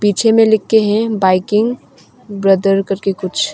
पीछे में लिखे हैं बाइकिंग ब्रदर करके कुछ।